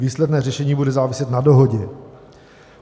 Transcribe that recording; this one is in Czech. Výsledné řešení bude záviset na dohodě.